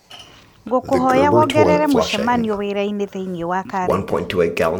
ngũkwĩhoya wongerere mũcemanio wĩra-inĩ thĩinĩ wa karenda